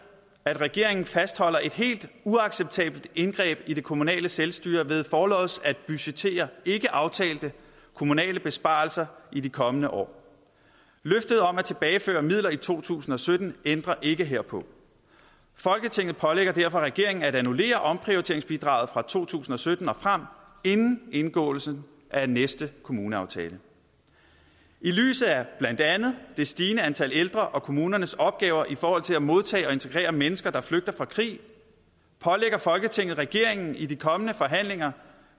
at regeringen fastholder et helt uacceptabelt indgreb i det kommunale selvstyre ved forlods at budgettere ikkeaftalte kommunale besparelser i de kommende år løftet om at tilbageføre midler i to tusind og sytten ændrer ikke herpå folketinget pålægger derfor regeringen at annullere omprioriteringsbidraget fra to tusind og sytten og frem inden indgåelsen af næste kommuneaftale i lyset af blandt andet det stigende antal ældre og kommunernes opgaver i forhold til at modtage og integrere mennesker der flygter fra krig pålægger folketinget regeringen i de kommende forhandlinger